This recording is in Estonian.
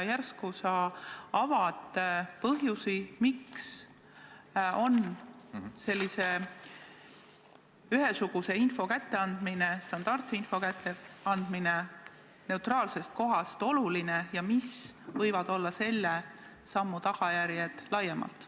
Äkki sa avaksid need põhjused, miks on sellise ühesuguse info, standardse info kätteandmine neutraalsest kohast oluline, ja selgitaksid, mis võivad olla selle sammu laiemad tagajärjed.